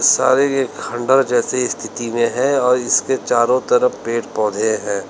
सारे ये खंडहर जैसी स्थिति में है और इसके चारों तरफ पेड़ पौधे हैं।